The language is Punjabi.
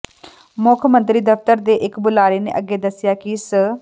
ਮੁੱਖ ਮੰਤਰੀ ਦਫ਼ਤਰ ਦੇ ਇਕ ਬੁਲਾਰੇ ਨੇ ਅੱਗੇ ਦੱਸਿਆ ਕਿ ਸ